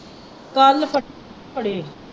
ਕੱਲ੍ਹ ਫੜੇੇ ਹੀ।